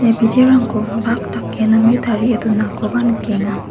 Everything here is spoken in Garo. biterangko bak dake name tarie donakoba nikenga.